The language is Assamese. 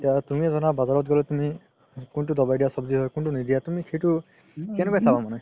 তুমি ধৰা বাজাৰাত গ'লে তুমি কুন্তু দাৱাই দিয়া সব্জি হয় কুন্তু নিদিয়া তুমি সেইটো কেনেকৈ চাবা মানে